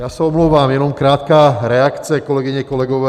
Já se omlouvám, jenom krátká reakce, kolegyně, kolegové.